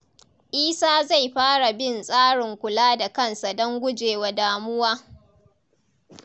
Isa zai fara bin tsarin kula da kansa don gujewa damuwa.